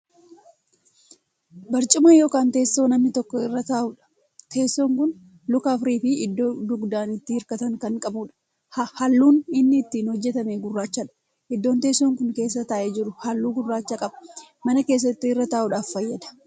Barcumaa( teessoo) namni tokko irra taa'udha. teessoo Kun Luka afuriifi iddoo dugdaan itti hirkatan Kan qabuudha. halluun inni ittiin hojjatame gurrachadha. iddoon teessoon Kuni keessa taa'ee jiru halluu gurraacha qaba. mana keessatti irra taa'udhaaf fayyada.